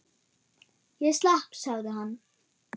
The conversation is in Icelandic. Ég slapp sagði hann.